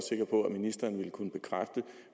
ministeren ville kunne bekræfte